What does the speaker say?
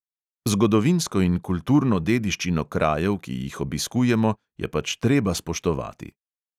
Zgodovinsko in kulturno dediščino krajev, ki jih obiskujemo, je pač treba spoštovati.